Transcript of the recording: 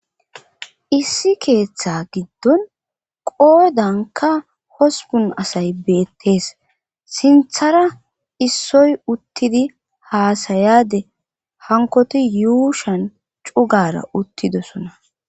issi keettaa giddon qoodankka hosppun asay beettes sinthara issoy uttidi haasayaade hankkoti yuushan cugaara uttididosona